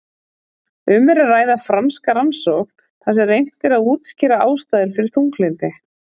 Um er að ræða franska rannsókn þar sem reynt er að útskýra ástæður fyrir þunglyndinu.